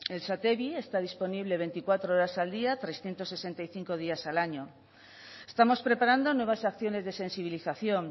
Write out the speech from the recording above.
el satevi está disponible veinticuatro horas al día trescientos sesenta y cinco días al año estamos preparando nuevas acciones de sensibilización